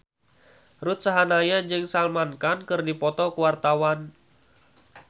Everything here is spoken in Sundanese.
Ruth Sahanaya jeung Salman Khan keur dipoto ku wartawan